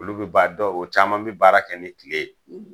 Olu bɛ ba dɔw o caman b'i baara kɛ ni kile ye;